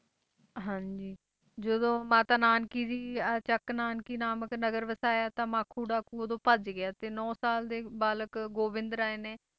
ਹਾਂਜੀ ਜਦੋਂ ਮਾਤਾ ਨਾਨਕੀ ਜੀ ਅਹ ਚੱਕ ਨਾਨਕੀ ਨਾਮਕ ਨਗਰ ਵਸਾਇਆ ਤਾਂ ਮਾਖੋ ਡਾਕੂ ਉਦੋਂ ਭੱਜ ਗਿਆ ਤੇ ਨੋਂ ਸਾਲ ਦੇ ਬਾਲਕ ਗੋਬਿੰਦ ਰਾਏ ਨੇ,